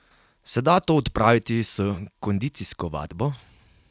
Se da to odpraviti s kondicijsko vadbo?